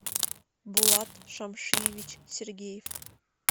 булат шамшиевич сергеев